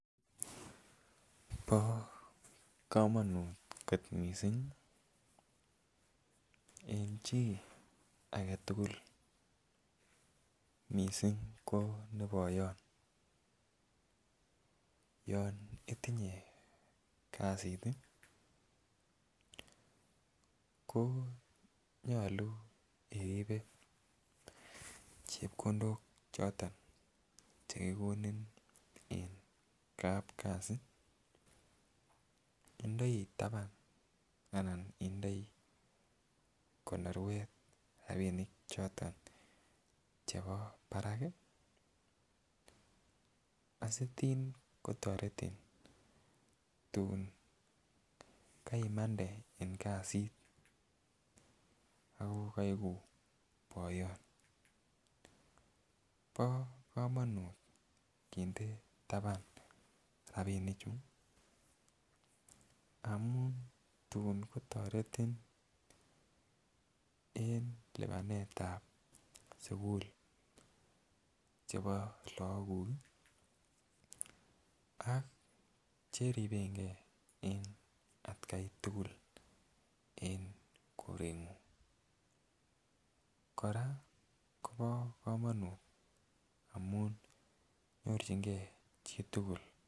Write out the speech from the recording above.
Bo komonut kot missing en chii agetukul missing ko boyon yon itinye kasit tii ko nyolu oribe chepkondok choton cheko kikoni en kapkasi indoi taban ana indoi konorwet rabinik choton chebo barak kii asitin kotoreti tun kaimande en kasit ako keigu boyon. Bo komonut kinde taban rabinik chuu amun tun kotoreti en lipanetab sukul chebo lok kuk kii ak cheribegee en atgai tukul en korengung. Koraa Kobo komonut amun nyorchingee chitukul.